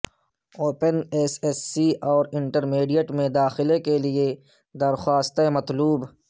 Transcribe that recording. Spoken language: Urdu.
اوپن ایس ایس سی اور انٹرمیڈیٹ میں داخلے کیلئے درخواستیں مطلوب